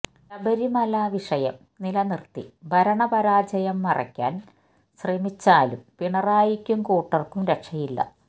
ശബരിമല വിഷയം നിലനിർത്തി ഭരണപരാജയം മറയ്ക്കാൻ ശ്രമിച്ചാലും പിണറായിക്കും കൂട്ടർക്കും രക്ഷയില്ല